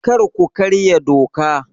Kar ku karya doka!